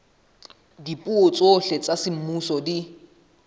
dipuo tsohle tsa semmuso di